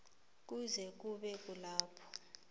kuze kube kulapho